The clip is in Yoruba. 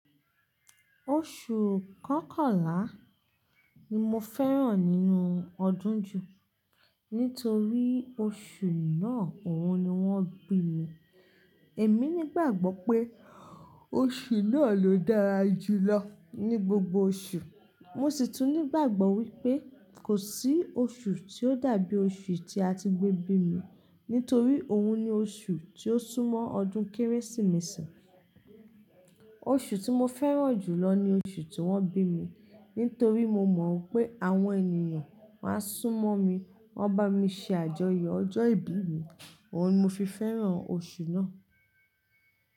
Oṣù Kọkànlá ni mo fẹ́ràn nínú ọdún jù nítorí oṣù náà òun ni wọ́n bí mi. Èmi ní gbàgbọ́ pé oṣù náà ló dára jù lọ ní gbogbo oṣù. Mo sì tún ní gbàgbọ́ wípé kò sí oṣù tí ó dàbí oṣù tí a ti gbé bí mi nítorí òun ni oṣù tí ó súnmọ́ ọdún kérésìmesì. Oṣù tí mo fẹ́ràn jù lọ ni oṣù tí wọ́n bí mi nítorí mo mọ̀ pé àwọn ènìyàn máa súnmọ́ mi, waa bámi ṣe àjọyọ̀ ọjọ́ ìbí mi, òun ni mo fi fẹ́ràn oṣù náà.